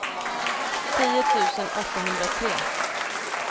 tio tusen åttahundratre